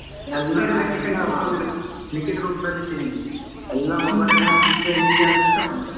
ಎಲ್ಲಾ ಲಿಖಿತ ರೂಪದಲ್ಲಿ ಇಟ್ಟಿದ್ದೀನಿ mobileಅಲ್ಲೇ ಹಾಕಿಟ್ರೆ ಹೀಗೆ ಆದ್ರೆ ಎಂತ ಮಾಡೋದು?